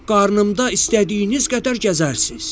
Qarnımda istədiyiniz qədər gəzərsiz.”